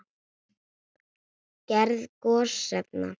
Gerð gosefna